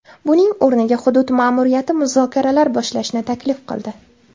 Buning o‘rniga hudud ma’muriyati muzokaralar boshlashni taklif qildi.